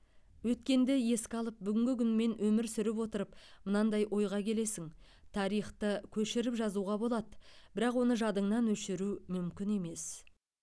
өткенді еске алып бүгінгі күнмен өмір сүріп отырып мынандай ойға келесің тарихты көшіріп жазуға болады бірақ оны жадыңнан өшіру мүмкін емес